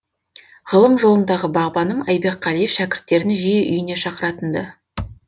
ғылым жолындағы бағбаным айбек қалиев шәкірттерін жиі үйіне шақыратын ды